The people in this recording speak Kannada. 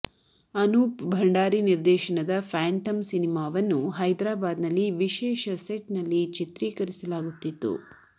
ಅನೂಪ್ ಭಂಡಾರಿ ನಿರ್ದೇಶನದ ಫ್ಯಾಂಟಮ್ ಸಿನಿಮಾವನ್ನು ಹೈದರಾಬಾದ್ ನಲ್ಲಿ ವಿಶೇಷ ಸೆಟ್ ನಲ್ಲಿ ಚಿತ್ರೀಕರಿಸಲಾಗುತ್ತಿತ್ತು